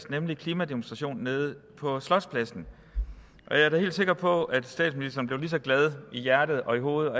nemlig klimademonstrationen nede på slotspladsen og jeg er da helt sikker på at statsministeren blev lige så glad i hjertet og i hovedet og